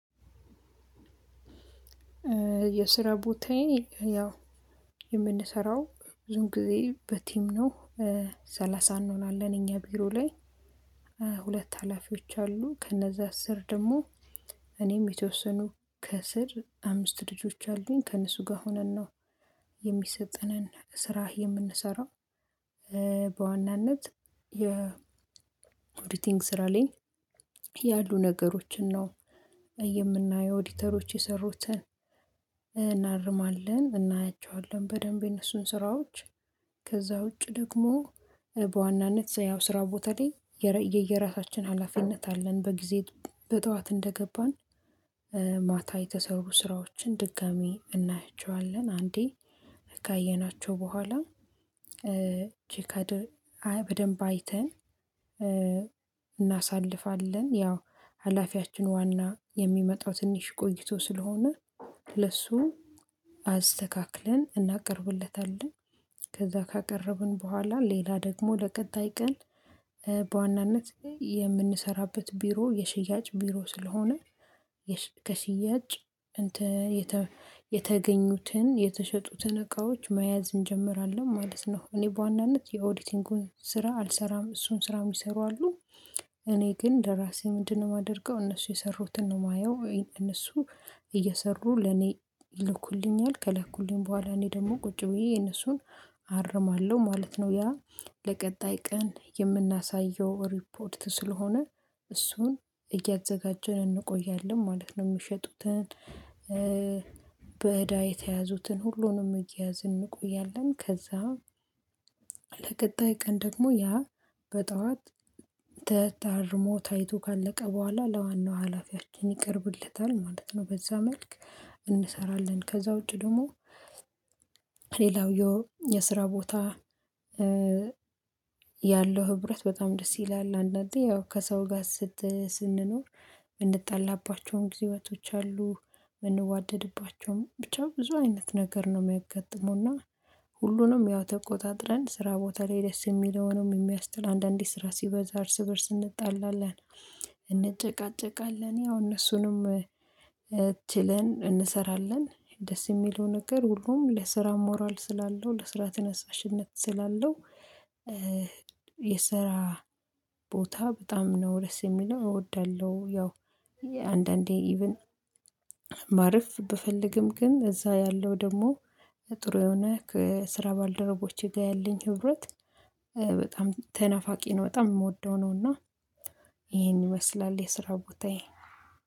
የስራ ቦታዬ ያው የምንሰራው ብዙን ጊዜ በቲም ነው። ሰላሳ እንሆናለን እኛ ቢሮ ላይ ሁለት ሀላፊዎች አሉ ከነዛ አስር ደግሞ እኔም የተወሰኑ ከስር አምስት ልጆች አሉኝ ከእነሱ ጋር ሆነን ነው። የሚሰጠንን ስራ የምንሰራው በዋናነት የኦዲቲንግ ስራ ላይ ያሉ ነገሮችን ነው የምናየው ኦዲተሮች የሰሩትን እናርማለን እናያቸዋለን በደንብ የነሱን ስራዎች። ከዛ ውጪ ደግሞ በዋናነት ያው ስራ ቦታ ላይ የየራሳችን ሀላፊነት አለን በጊዜ በጠዋት እንደገባን ማታ የተሰሩ ስራዎችን ድጋሚ እናያቸዋለን አንዴ ካየናቸው በኋላ ቼካድ በደንብ አይተን እናሳልፋለን። ያው ሀላፊያችን ዋና የሚመጣው ትንሽ ቆይቶ ስለሆነ ለሱ አስተካክለን እናቀርብለታለን ከዛ ካቀረብን በኋላ ሌላ ደግሞ ለቀጣይ ቀን በዋናነት የምንሰራበት ቢሮ የሽያጭ ቢሮ ስለሆነ ከሽያጭ እንትን የተገኙትን የተሸጡትን እቃዎች መያዝ እንጀምራለን ማለት ነው። እኔ በዋናነት የኦዲቲንጉን ስራ አልሰራም እሱን ስራ የሚሰሩ አሉ እኔ ግን ለራሴ ምንድነው? የማደርገው እነሱ የሰሩትን ነው የማየው እነሱ እየሰሩ ለኔ ይልኩልኛል ከላኩልኝ በኋላ እኔ ደግሞ ቁጭ ብዬ የነሱን አርማለሁ ማለት ነው። ያ ለቀጣይ ቀን የምናሳየው ሪፖርት ስለሆነ እሱን እያዘጋጀን እንቆያለን ማለት ነው። የምሸጡትን በእዳ የተያዙትን ሁሉንም እየያዝን እንቆያለን ከዛ ለቀጣይ ቀን ደግሞ ያ በጠዋት ተ ታርሞ ታይቶ ካለቀ በኋላ ለዋናው ሀላፊያችን ይቀርብለታል ማለት ነው። በዛ መልክ እንሰራለን። ከዛ ውጪ ደግሞ ሌላው የስራ ቦታ ያለው ህብረት በጣም ደስ ይላል። አንዳንዴ ያው ከሰው ጋር ስት ስንኖር የምንጣላባቸውን ጊዜቶች አሉ የምንዋደድባቸውም ብቻ ብዙ አይነት ነገር ነው የሚያጋጥመው እና ሁሉንም ያው ተቆጣጥረን ስራ ቦታ ላይ ደስ የሚለውንም የሚያስጠላ አንዳንዴ ስራ ሲበዛ እርስ በእርስ እንጣላለን እንጨቃጨቃለን ያው እነሱንም ችለን እንሰራለን። ደስ የሚለው ነገር ሁሉም ለስራ ሞራል ስላለው ለስራ ትነሳሽነት ስላለው የስራ ቦታ በጣም ነው ደስ የሚለው እወዳለሁ። ያው አንዳንዴ ኢቭን ማረፍ ብፈልግም ግን እዛ ያለው ደግሞ ጥሩ የሆነ ከስራ ባልደረቦቼ ጋር ያለኝ ህብረት በጣም ተናፋቂ ነው በጣም የምወደው ነው። እና ይሄን ይመስላል የስራ ቦታዬ።